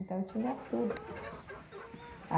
Então, eu tinha tudo.